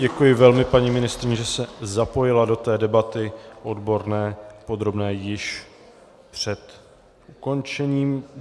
Děkuji velmi paní ministryni, že se zapojila do té debaty odborné, podrobné, již před ukončením.